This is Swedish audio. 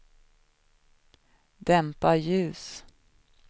dämpa ljus